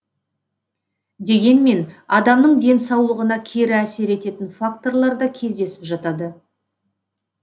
дегенмен адамның денсаулығына кері әсер ететін факторлар да кездесіп жатады